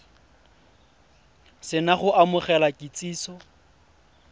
se na go amogela kitsiso